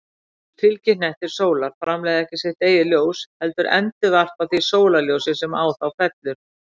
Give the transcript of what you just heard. Fylgihnettir sólar framleiða ekki sitt eigið ljós, heldur endurvarpa því sólarljósi sem á þá fellur.